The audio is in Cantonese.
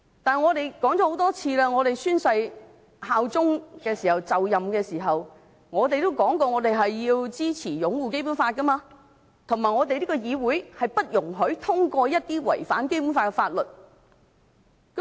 我們說過很多次，我們就任立法會議員宣誓效忠時，承諾要支持和擁護《基本法》，而這個議會不應通過一些違反《基本法》的法律。